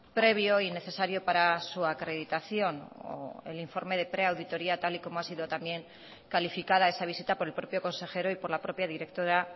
previo y necesario para su acreditación o el informe de preauditoría tal y como ha sido también calificada esa visita por el propio consejero y por la propia directora